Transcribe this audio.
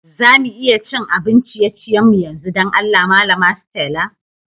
Za mu iya cin abin ciye-ciyen mu yanzu, dan Allah malama Stella?